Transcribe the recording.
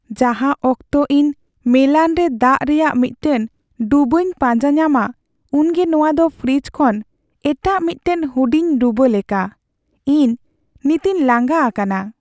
ᱡᱟᱦᱟᱸ ᱚᱠᱛᱮ ᱤᱧ ᱢᱮᱞᱟᱱ ᱨᱮ ᱫᱟᱜ ᱨᱮᱭᱟᱜ ᱢᱤᱫᱴᱟᱝ ᱰᱩᱵᱟᱹᱧ ᱯᱟᱸᱡᱟ ᱧᱟᱢᱟ, ᱩᱱᱜᱮ ᱱᱚᱣᱟ ᱫᱚ ᱯᱷᱨᱤᱡᱽ ᱠᱷᱚᱱ ᱮᱴᱟᱜ ᱢᱤᱫᱴᱟᱝ ᱦᱩᱰᱤᱧ ᱰᱩᱵᱟᱹ ᱞᱮᱠᱟ ᱾ ᱤᱧ ᱱᱤᱛᱤᱧ ᱞᱟᱸᱜᱟ ᱟᱠᱟᱱᱟ ᱾